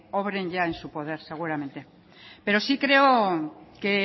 obren ya en su poder seguramente pero sí creo que